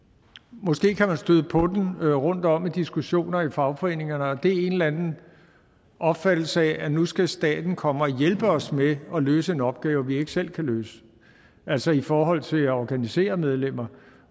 måske kan man støde på den rundtom i diskussioner i fagforeningerne og det er en eller anden opfattelse af at nu skal staten komme og hjælpe os med at løse en opgave vi ikke selv kan løse altså i forhold til at organisere medlemmer